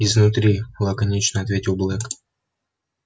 изнутри лаконично ответил блэк